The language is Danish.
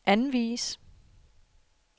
anvis